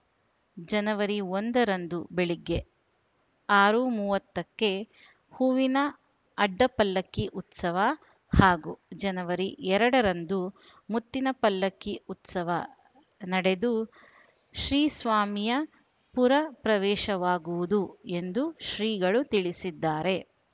ಜನವರಿ ಒಂದರಂದು ಬೆಳಗ್ಗೆ ಆರು ಮೂವತ್ತಕ್ಕೆ ಹೂವಿನ ಅಡ್ಡಪಲ್ಲಕ್ಕಿ ಉತ್ಸವ ಹಾಗೂ ಜನವರಿ ಎರಡರಂದು ಮುತ್ತಿನ ಪಲ್ಲಕ್ಕಿ ಉತ್ಸವ ನಡೆದು ಶ್ರೀಸ್ವಾಮಿಯ ಪುರ ಪ್ರವೇಶವಾಗುವುದು ಎಂದು ಶ್ರೀಗಳು ತಿಳಿಸಿದ್ದಾರೆ